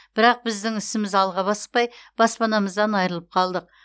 бірақ біздің ісіміз алға баспай баспанамыздан айырылып қалдық